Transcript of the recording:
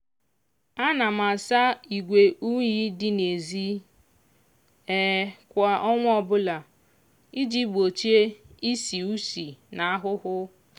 ana m asa igwe unyi dị n'ezi kwa ọnwa ọbụla iji gbochie ishi ushi na ahụhụ